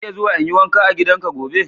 Zan iya zuwa in yi wanka a gidanka gobe?